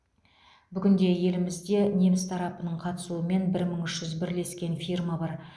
бүгінде елімізде неміс тарапының қатысуымен бір мың үш жүз бірлескен фирма бар